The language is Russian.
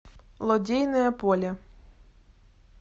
лодейное поле